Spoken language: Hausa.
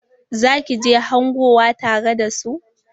Za ki je hangowa tare da su?